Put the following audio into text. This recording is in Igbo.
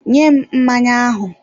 Nye m mmanya ahụ!